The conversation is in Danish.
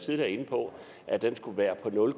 inde på at den skulle være på nul